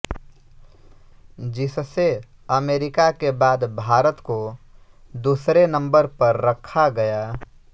जिससे अमेरिका के बाद भारत को दूसरे नंबर पर रखा गया